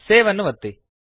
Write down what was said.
save ಅನ್ನು ಒತ್ತಿ